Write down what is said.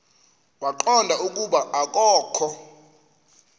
waqonda ukuba akokho